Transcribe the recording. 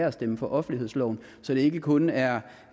at stemme for offentlighedsloven så det ikke kun er